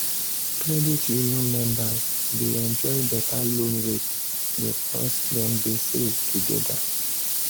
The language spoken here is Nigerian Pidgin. credit union members dey enjoy better loan rate because dem dey save together.